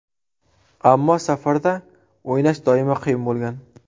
Ammo safarda o‘ynash doimo qiyin bo‘lgan.